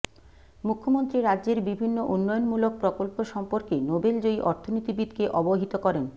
মুখ্যমন্ত্রী রাজ্যের বিভিন্ন উন্নয়নমূলক প্রকল্প সম্পর্কে নোবেলজয়ী অর্থনীতিবিদকে অবহিত করেন